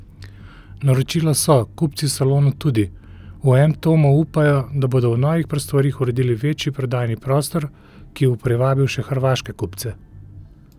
Naročila so, kupci v salonu tudi, v M Tomu upajo, da bodo v novih prostorih uredili večji prodajni prostor, ki bo privabil še hrvaške kupce.